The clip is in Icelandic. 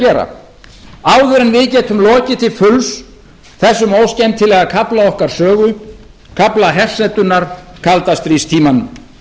gera áður en við getum lokið til fulls þessum óskemmtilega kafla okkar sögu kafla hersetunnar kaldastríðstímanum